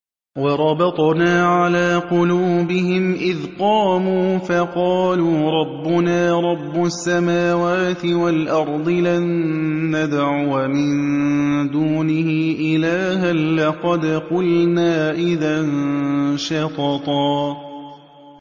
وَرَبَطْنَا عَلَىٰ قُلُوبِهِمْ إِذْ قَامُوا فَقَالُوا رَبُّنَا رَبُّ السَّمَاوَاتِ وَالْأَرْضِ لَن نَّدْعُوَ مِن دُونِهِ إِلَٰهًا ۖ لَّقَدْ قُلْنَا إِذًا شَطَطًا